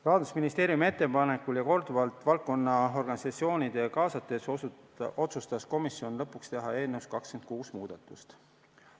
Rahandusministeeriumi ettepanekul ja korduvalt valdkonna organisatsioone kaasates otsustas komisjon lõpuks teha eelnõus 26 muudatust.